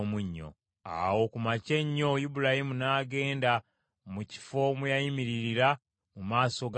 Awo ku makya ennyo Ibulayimu n’agenda mu kifo mwe yayimiririra mu maaso ga Mukama ;